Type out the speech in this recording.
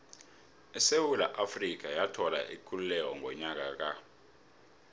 isewula afrika yathola ikululeko ngonyaka ka